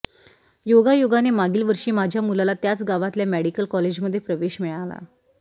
योगायोगाने मागील वर्षी माझ्या मुलाला त्याच गावातल्या मेडिकल कॉलेजमधे प्रवेश मिळाला